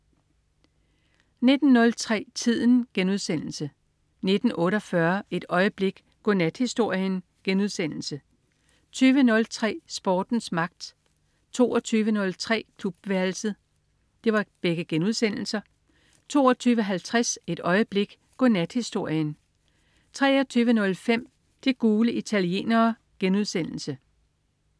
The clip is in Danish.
19.03 Tiden* 19.48 Et øjeblik. Godnathistorien* 20.03 Sportens magt* 22.03 Klubværelset* 22.50 Et øjeblik. Godnathistorien 23.05 De gule italienere*